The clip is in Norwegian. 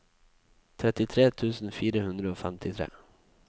trettitre tusen fire hundre og femtitre